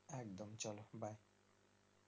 একদম চলো Byee